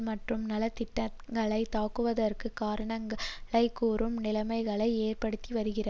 மற்றும் நலத்திட்டங்களைத் தாக்குவதற்குக் காரணங்களை கூறும் நிலைமைகளை ஏற்படுத்திவருகிறது